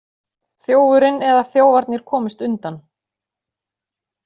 Þjófurinn eða þjófarnir komust undan